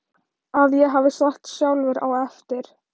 að ég hafi sagt sjálfur á eftir